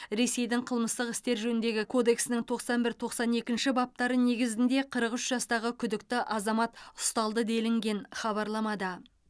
ресейдің қылмыстық істер жөніндегі кодексінің тоқсан бір тоқсан екінші баптары негізінде қырық үш жастағы күдікті азамат ұсталды делінген хабарламада